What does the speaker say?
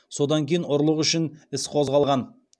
содан кейін ұрлық үшін іс қозғалған